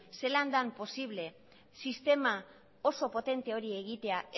zelan den posible sistema oso potente hori egitea